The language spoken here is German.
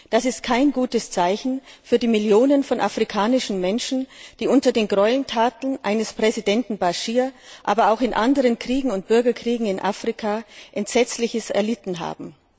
Das ist kein gutes Zeichen für die Millionen von Menschen in Afrika, die unter den Gräueltaten eines Präsidenten al Baschir, aber auch in anderen Kriegen und Bürgerkriegen in Afrika Entsetzliches erlitten haben.